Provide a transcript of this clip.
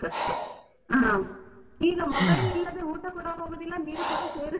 ಹಾ ಈಗ mobile ಊಟ ಕೂಡ ಹೋಗುದಿಲ್ಲ, ನೀರು ಕೂಡ ಸೇರುದಿಲ್ಲ ಅಂತ .